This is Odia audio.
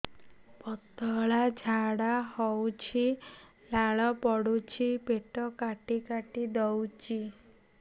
ପତଳା ଝାଡା ହଉଛି ଲାଳ ପଡୁଛି ପେଟ କାଟି କାଟି ଦଉଚି